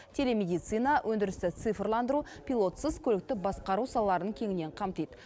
телемедицина өндірісті цифрландыру пилотсыз көлікті басқару салаларын кеңінен қамтиды